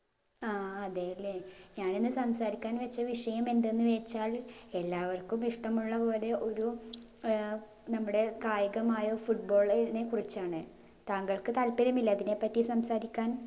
ആ അതെയല്ലേ ഞാനിന്ന് സംസാരിക്കാൻ വെച്ച വിഷയം എന്തെന്ന് വെച്ചാൽ എല്ലാവര്ക്കും ഇഷ്ട്ടമുള്ള പോലെ ഒരു ഏർ നമ്മുടെ കായികമായ football നെ കുറിച്ചാണ് താങ്കൾക്ക് താല്പര്യമില്ലേ അതിനെപ്പറ്റി സംസാരിക്കാൻ